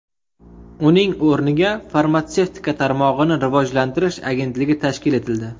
Uning o‘rniga Farmatsevtika tarmog‘ini rivojlantirish agentligi tashkil etildi.